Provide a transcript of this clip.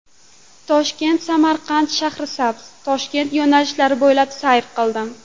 Toshkent–Samarqand–Shahrisabz–Toshkent yo‘nalishi bo‘ylab sayr qildim.